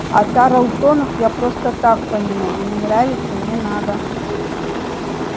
а тарлтонов я просто так помянул не нравятся не надо